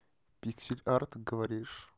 пиксель арт говоришь